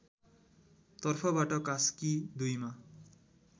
तर्फबाट कास्की २ मा